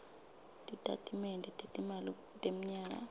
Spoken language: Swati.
titatimende tetimali temnyaka